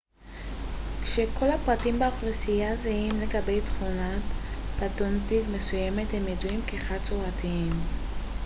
כשכל הפרטים באוכלוסייה זהים לגבי תכונה פנוטיפית מסוימת הם ידועים כחד-צורתיים